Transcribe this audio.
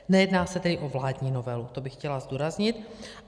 Nejedná se tedy o vládní novelu, to bych chtěla zdůraznit.